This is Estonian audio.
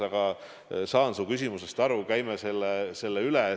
Aga saan su küsimusest aru, käime selle teema üle.